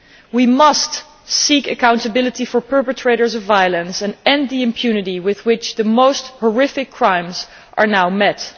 We must seek accountability for the perpetrators of violence and end the impunity with which the most horrific crimes are now met.